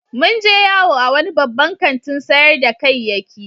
Mun je yawo a wani babban kantin sayar da kayyaki.